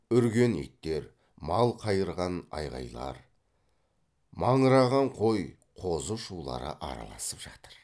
үрген иттер мал қайырған айғайлар маңыраған қой қозы шулары араласып жатыр